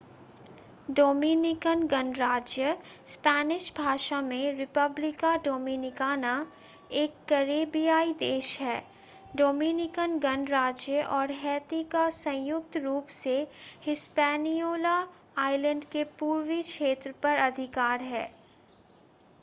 Dominican गणराज्य Spanish भाषा में: república dominicana एक करैबियाई देश है. डोमिनिकन गणराज्य और हैती का संयुक्त रूप से हिस्पैनियोला आइलैंड के पूर्वी क्षेत्र पर अधिकार है